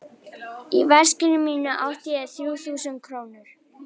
Í veskinu mínu átti ég þrjú þúsund krónur.